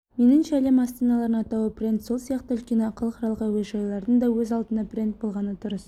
меніңше әлем астаналарының атауы брэнд сол сияқты үлкен іалықаралық әуежайлардың да өз алдына брэнд болғаны дұрыс